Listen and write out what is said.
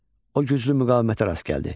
O güclü müqavimətə rast gəldi.